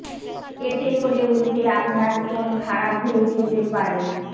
এতে করে উল্টে আপনার ফোন খারাপ হয়ে যেতে পারে